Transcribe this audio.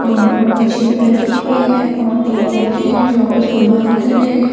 और फिर बच्ची भी बेठी हुई है और दो लोग है जो आपस मे बात कर रहे है ।